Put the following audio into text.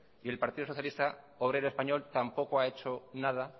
y el partido socialista obrero español tampoco ha hecho nada